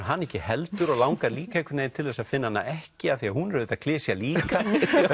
hana ekki heldur og langar líka einhvern veginn til að finna hana ekki af því að hún er auðvitað klisja líka